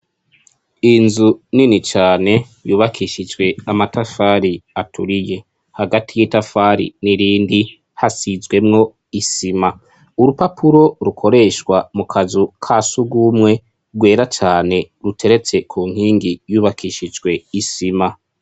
Inzu nini cane yubakishijwe amatafari aturiye hagati y'itafari n'irindi hasizwemwo isima urupapuro rukoreshwa mu kazu ka si ugumwe rwera cane ruteretse ku nkingi yubakishijwe isima.